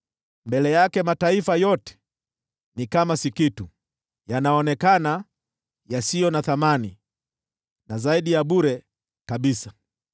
Mbele yake mataifa yote ni kama si kitu, yanaonekana yasio na thamani na zaidi ya bure kabisa.